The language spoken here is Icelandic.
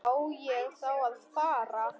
Á ég þá að fara.